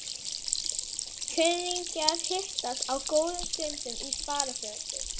Kunningjar hittast á góðum stundum í sparifötum.